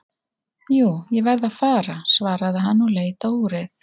Jú, ég verð að fara svaraði hann og leit á úrið.